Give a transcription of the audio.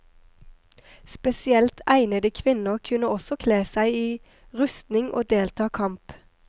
Spesielt egnede kvinner kunne også kle seg i rustning og delta kamp.